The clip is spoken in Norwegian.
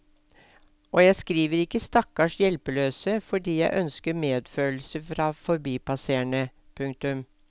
Og jeg skriver ikke stakkars hjelpeløse fordi jeg ønsker medfølelse fra forbipasserende. punktum